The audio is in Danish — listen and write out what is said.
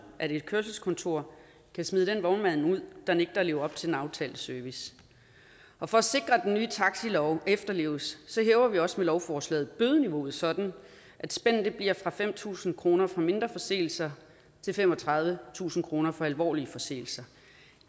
at et kørselskontor kan smide den vognmand ud der nægter at leve op til den aftalte service og for at sikre at den nye taxilov efterleves hæver vi også med lovforslaget bødeniveauet sådan at spændet bliver fra fem tusind kroner for mindre forseelser til femogtredivetusind kroner for alvorlige forseelser